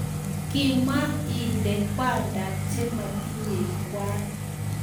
Kemwa ile kwandap che matinyei kwan